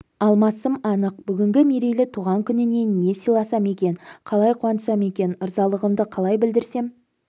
алмасым анық бүгінгі мерейлі туған күніне не сыйласам екен қалай қуантсам екен ырзалығымды қалай білдірсем